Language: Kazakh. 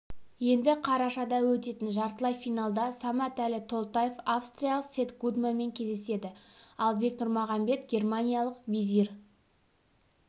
енді қарашада өтетін жартылай финалда саматәлі толтаев австриялық сэм гудманмен кездеседі ал бек нұрмағанбет германиялық везир